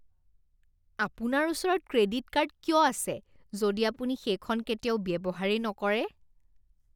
আপোনাৰ ওচৰত credit card কিয় আছে যদি আপুনি সেইখন কেতিয়াও ব্যৱহাৰেই নকৰে?